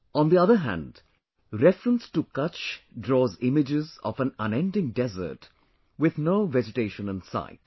On the other hand, reference to Kutch draws images of an unending desert with no vegetation in sight